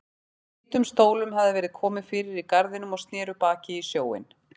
Hvítum stólum hafði verið komið fyrir í garðinum og sneru baki í sjóinn.